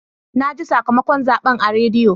Na ji sakamakon zaɓen a rediyo.